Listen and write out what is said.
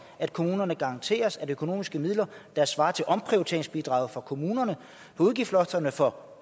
at kommunerne garanteres at økonomiske midler der svarer til omprioriteringsbidraget fra kommunerne på udgiftslofterne for